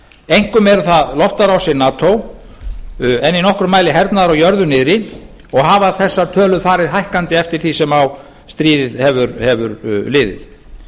einkum eru það loftárásir nato en í nokkrum mæli hernaði á jörðu niðri og hafa þessar tölur farið hækkandi eftir því sem á stríðið hefur liðið